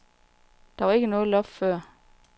Der var ikke noget loft før.